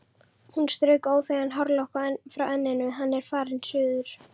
Hún strauk óþægan hárlokk frá enninu: Hann er farinn suður